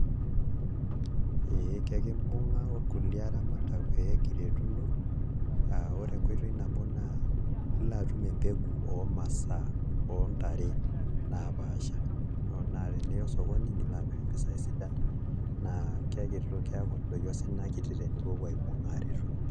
Ee kakimbung'a orkulie aramatak pee kiretuno aa ore enkoitoi nabo naa ilo atum embegu oo masaa oo ntare naapaasha naa teniya osokoni nilo amirr mpisaai sidan naa keeku dupoto ina kiti tenipuopuo aibung'a aaretuno.